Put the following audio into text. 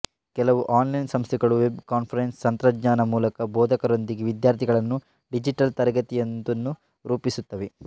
ಕೆಲವು ಆನ್ಲೈನ್ ಸಂಸ್ಥೆಗಳು web conference ತಂತ್ರಜ್ಞಾನದ ಮೂಲಕ ಬೋಧಕರೊಂದಿಗೆ ವಿದ್ಯಾರ್ಥಿಗಳನ್ನು ಡಿಜಿಟಲ್ ತರಗತಿಯೊಂದನ್ನು ರೂಪಿಸುತ್ತವೆ